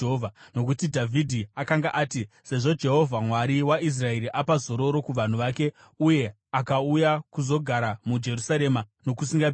Nokuti Dhavhidhi akanga ati, “Sezvo Jehovha, Mwari waIsraeri apa zororo kuvanhu vake uye akauya kuzogara muJerusarema nokusingaperi,